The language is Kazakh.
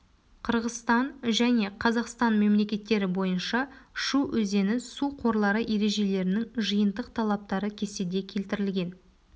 қырғызстан және қазақстан мемлекеттері бойынша шу өзені су қорлары ережелерінің жиынтық талаптары кестеде келтірілген